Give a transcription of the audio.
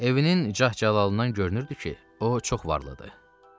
Evinin cah-cəlalından görünürdü ki, o çox varlıdır.